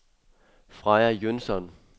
Freja Jønsson